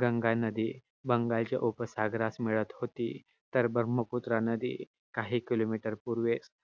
गंगा नदी, बंगालच्या उपसागरात मिळत होती. तर ब्रह्मपुत्रा नदी काही kilometer पूर्वे